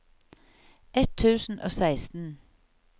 ett tusen og seksten